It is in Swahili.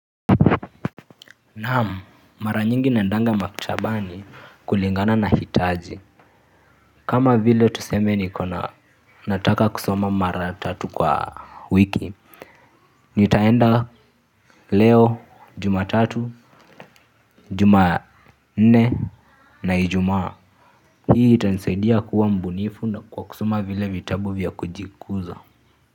Naam mara nyingi naendanga maktabani kulingana na hitaji kama vile tuseme ni kona nataka kusoma mara tatu kwa wiki. Nitaenda leo Jumatatu Jumanne na Ijumaa. Hii itansaidia kuwa mbunifu na kwa kusoma vile vitabu vya kujikuza.